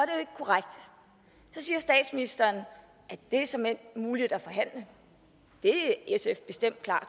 siger statsministeren at det såmænd er muligt at forhandle det er sf bestemt klar